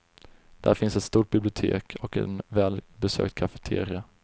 Där finns ett stort bibliotek och en välbesökt kafeteria.